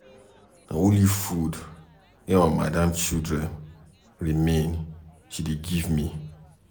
Na only food wey my madam children remain she dey give me.